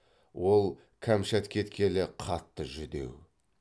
ол кәмшат кеткелі қатты жүдеу